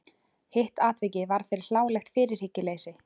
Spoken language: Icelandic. Hitt atvikið varð fyrir hlálegt fyrirhyggjuleysi.